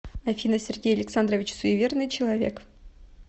афина сергей александрович суеверный человек